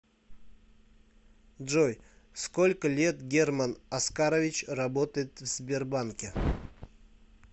джой сколько лет герман оскарович работает в сбербанке